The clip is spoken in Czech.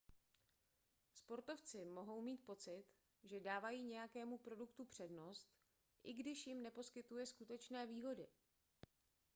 sportovci mohou mít pocit že dávají nějakému produktu přednost i když jim neposkytuje skutečné výhody